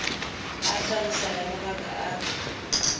a tlhaloso ya mabaka a